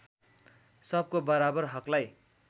सबको बराबर हकलाई